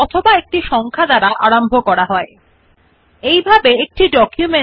this way one can distinguish between different points written in the document